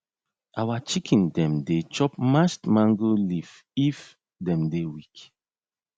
our chicken dem dey chop mashed mango leaf if dem dey weak